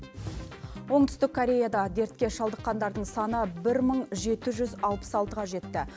оңтүстік кореяда дертке шалдыққандардың саны бір мың жеті жүз алпыс алтыға жетті